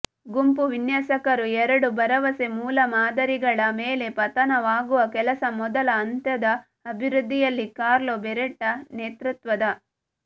ಗುಂಪು ವಿನ್ಯಾಸಕರು ಎರಡು ಭರವಸೆ ಮೂಲಮಾದರಿಗಳ ಮೇಲೆ ಪತನವಾಗುವ ಕೆಲಸ ಮೊದಲ ಹಂತದ ಅಭಿವೃದ್ಧಿಯಲ್ಲಿ ಕಾರ್ಲೊ ಬೆರೆಟ್ಟಾ ನೇತೃತ್ವದ